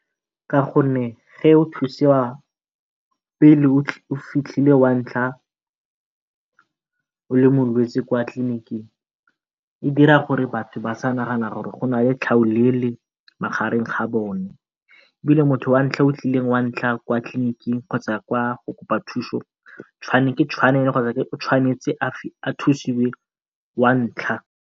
Ka gonne o thusiwa pele o fitlhile wa ntlha o le molwetsi kwa tliliniking e dira gore batho ba sa nagana gore go na le tlhaolele magareng ga bone ebile motho wa ntlha o tlileng wa ntlha kwa tliliniking kgotsa kwa o tshwanetse a thusiwe wa ntlha.